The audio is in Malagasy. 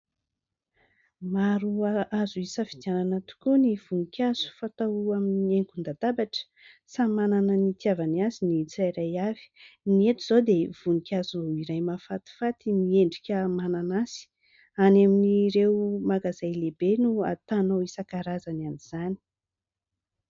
Maro azo hisafidianana tokoa ny voninkazo fatao amin'ny haingon-dadabatra, samy manana ny hitiavany azy ny tsirairay avy, ny eto izao dia voninkazo iray mahafatifaty miendrika mananasy, any amin'ireo magazay lehibe no ahitanao isankarazany amin'izany.